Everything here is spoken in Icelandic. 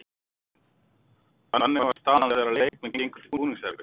Þannig var staðan þegar að leikmenn gengu til búningsherbergja.